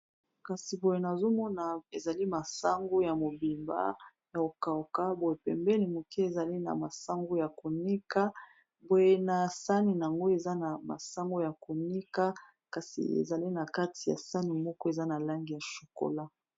Kasi boye na zomona ezali masango ya mobimba ya kokauka, boye pembeni moke ezali na masango ya konika poye na sani yango eza na masango ya konika kasi ezali na kati ya sani moko eza na lange ya shokola.